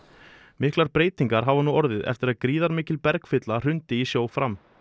miklar breytingar hafa nú orðið eftir að gríðarmikil hrundi í sjó fram